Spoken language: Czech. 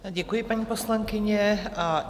Děkuji, paní poslankyně.